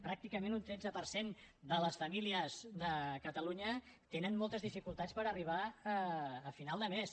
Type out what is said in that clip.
pràcticament un tretze per cent de les famílies de catalunya tenen moltes dificultats per arribar a final de mes